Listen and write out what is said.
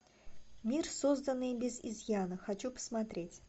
мир созданный без изъяна хочу посмотреть